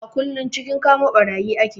A kullum cikin kama ɓarayi ake